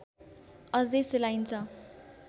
अझै सेलाइन्छ